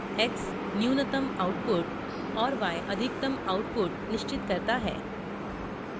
x न्यूनतम output और y अधिकतम output निश्चित करता है